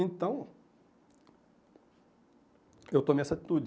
Então, eu tomei essa atitude.